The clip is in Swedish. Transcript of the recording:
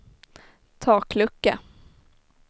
taklucka